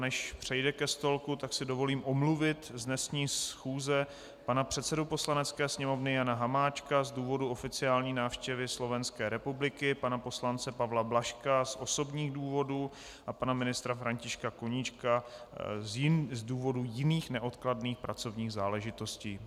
Než přejde ke stolku, tak si dovolím omluvit z dnešní schůze pana předsedu Poslanecké sněmovny Jana Hamáčka z důvodu oficiální návštěvy Slovenské republiky, pana poslance Pavla Blažka z osobních důvodů a pana ministra Františka Koníčka z důvodu jiných neodkladných pracovních záležitostí.